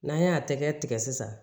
N'an y'a tɛgɛ tigɛ sisan